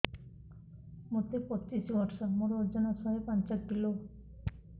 ମୋତେ ପଚିଶି ବର୍ଷ ମୋର ଓଜନ ଶହେ ପାଞ୍ଚ କିଲୋ